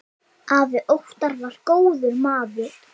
Afi Óttar var góður maður.